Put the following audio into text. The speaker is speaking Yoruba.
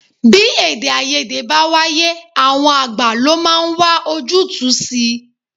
Bí èdè-áiyedé bá wáyé, àwọn àgbà lo máa ń wá ojútùú si.